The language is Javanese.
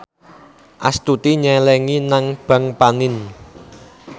Astuti nyelengi nang bank panin